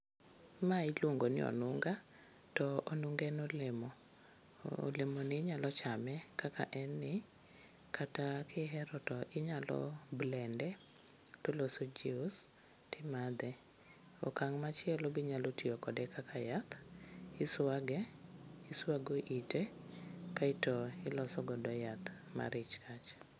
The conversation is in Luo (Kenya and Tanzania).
Mae iluongo ni onunga to onunga en olemo. Olemoni inyalo chame kaka en ni, kata kihero tinyalo blend e toloso jius timadhe. Okang' machielo be inyalo tiyo kode kaka yath, iswage, iswago ite kaeto iloso godo yath mar ich kach.